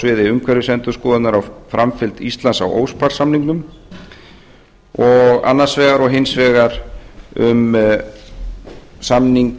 sviði umhverfisendurskoðunar á framkvæmd á samningnum annars vegar og hins vegar um samning